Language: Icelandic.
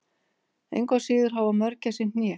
engu að síður hafa mörgæsir hné